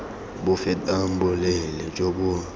bo fetang boleele jo bo